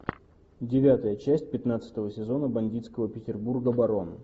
девятая часть пятнадцатого сезона бандитского петербурга барон